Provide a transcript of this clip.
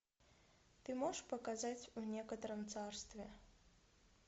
ты можешь показать в некотором царстве